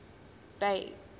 bay